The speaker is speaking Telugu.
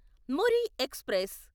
మురి ఎక్స్ప్రెస్